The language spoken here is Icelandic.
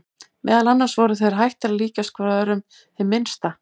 Meðal annars voru þeir hættir að líkjast hvor öðrum hið minnsta.